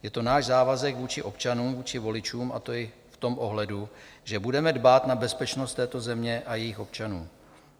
Je to náš závazek vůči občanům, vůči voličům, a to i v tom ohledu, že budeme dbát na bezpečnost této země a jejích občanů.